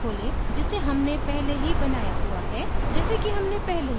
अब हमारी website को खोलें जिसे हमने पहले ही बनाया हुआ है